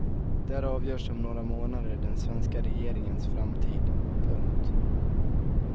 Där avgörs om några månader den svenska regeringens framtid. punkt